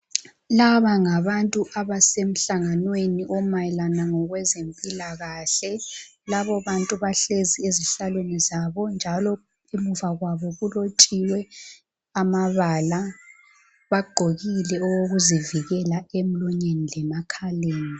Laba ngabantu abasemhlanganweni omayelana ngokwezempilakahle. Bahlezi ezihlalweni zabo njalo ngemuva kwabo kulotshiwe amabala. Bagqokile okokuzivikela emlonyeni lemakhaleni.